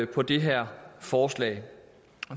på det her forslag